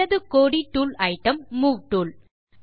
இடது கோடி tool item move tool